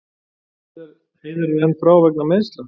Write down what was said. Heiðar enn frá vegna meiðsla